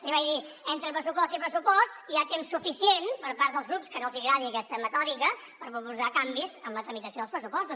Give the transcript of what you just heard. li vaig dir entre pressupost i pressupost hi ha temps suficient per part dels grups que no els hi agradi aquesta metòdica per proposar canvis amb la tramitació dels pressupostos